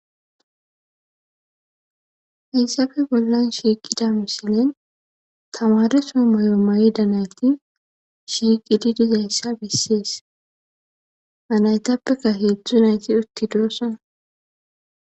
Hayssafe bollan shiiqida misilen tamareso mayo mayida nayti shiiqidi dizayssa bissees anaytappeka heedzdzu nayti utti doossana.